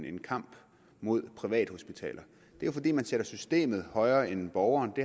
en kamp mod privathospitaler og jo fordi man sætter systemet højere end borgeren det